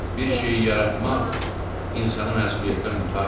Bir şeyi yaratmaq insanı məsuliyyətdən qurtarmır.